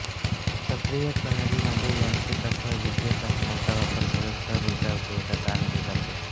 सक्रिय प्रणालींमध्ये यांत्रिक अथवा विद्युत साधनांचा वापर करून सौर ऊर्जा उपयोगात आणली जाते